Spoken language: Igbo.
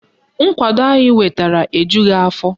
Nkwado anyị nwetara ejughi afọ